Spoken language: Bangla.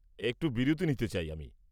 একটা বিরতি নিতে চাই আমি।